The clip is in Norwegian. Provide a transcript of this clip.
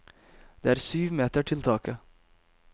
Det er syv meter til taket.